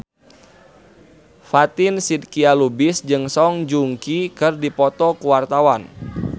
Fatin Shidqia Lubis jeung Song Joong Ki keur dipoto ku wartawan